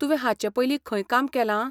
तुवें हाचे पयलीं खंय काम केलां?